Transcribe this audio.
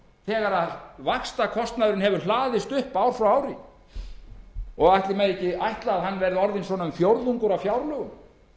þegar vaxtakostnaðurinn hefur hlaðist upp ár frá ári ætli megi ekki ætla að hann verði orðinn um fjórðungur af fjárlögum